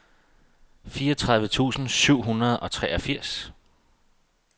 fireogtredive tusind syv hundrede og treogfirs